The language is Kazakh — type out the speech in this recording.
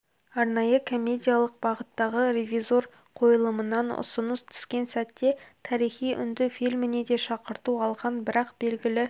арнайы комедиялық бағыттағы ревизор қойылымынан ұсыныс түскен сәтте тарихи үнді фильміне де шақырту алған бірақ белгілі